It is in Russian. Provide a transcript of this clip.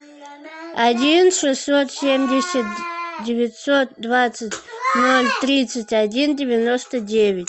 один шестьсот семьдесят девятьсот двадцать ноль тридцать один девяносто девять